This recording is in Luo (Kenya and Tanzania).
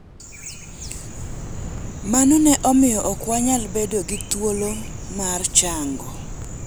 Mano ne omiyo ok wanyal bedo gi thuolo mar chango.